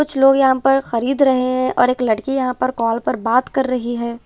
कुछ लोग यहां पर खरीद रहे हैं और एक लड़की यहां पर कॉल पर बात कर रही हैं।